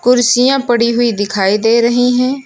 कुर्सियां पड़ी हुई दिखाई दे रही हैं।